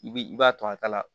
I b'i i b'a to a ta la